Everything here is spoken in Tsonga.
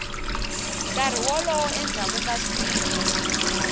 nkarhi wolowo endzhaku ka siku